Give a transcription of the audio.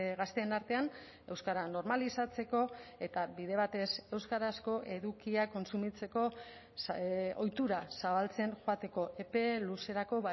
gazteen artean euskara normalizatzeko eta bide batez euskarazko edukiak kontsumitzeko ohitura zabaltzen joateko epe luzerako